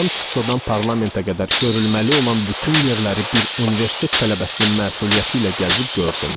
Madam Tussodan parlamentə qədər görülməli olan bütün yerləri bir universitet tələbəsinin məsuliyyəti ilə gəzib gördüm.